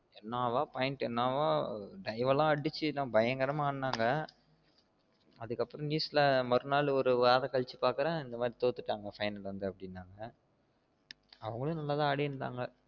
என்னாவ point என்னவா dive வெல்லாம் அடிச்சுபயங்கரம்மா ஆடுனாக அதுக்கு அப்ரோ news ல மறுவாரம் ஒருவாரம் கழிச்சு பாக்கேன் இந்த மாறி தோத்திடாங்க final வந்து அப்டினாங்க அவங்களும் நல்லா தான் அடிருந்தாங்க